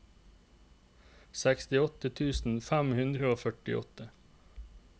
sekstiåtte tusen fem hundre og førtiåtte